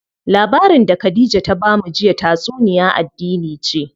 Labarin da Khadija ta bamu jiya tatsuniya addini ce.